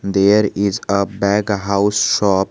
There is a bag house shop.